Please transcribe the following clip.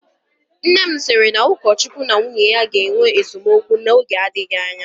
Nne sịrị na ukochukwu na nwunye ya ga-enwe esemokwu oge adịghị anya